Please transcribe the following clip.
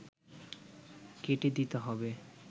কেটে দিতে হবে